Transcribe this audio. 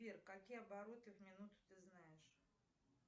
сбер какие обороты в минуту ты знаешь